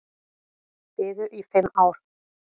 Biðu í fimm ár